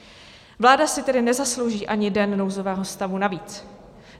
Vláda si tedy nezaslouží ani den nouzového stavu navíc.